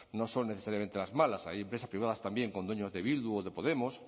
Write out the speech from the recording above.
no son necesariamente las malas hay empresas privadas también con dueños de bildu o de podemos